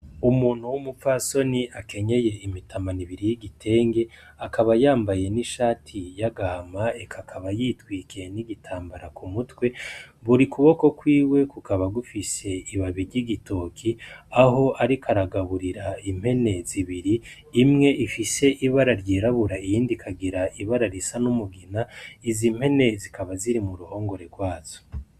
Umuntu w'umupfasoni akenyeye imitamana ibiri yigitenge akaba yambaye n'ishati y'agahama, eka akaba yitwikiye n'igitambara kumutwe buri kuboko kwiwe kukaba gufise ibabi ry'igitoki aho ariko aragaburira impene zibiri imwe ifise ibara ryirabura, iyindi ikagira ibara risa n'umugina izimpene zikaba ziri muruhongore rwazo.